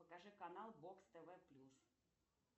покажи канал бокс тв плюс